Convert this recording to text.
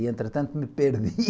E, entretanto, me perdi.